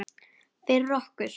Fyrir okkur.